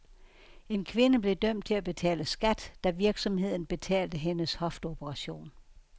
En kvinde blev dømt til at betale skat, da virksomheden betalte hendes hofteoperation.